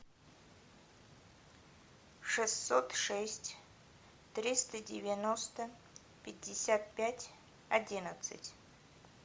шестьсот шесть триста девяносто пятьдесят пять одиннадцать